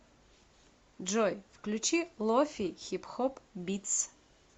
джой включи лофи хип хоп битс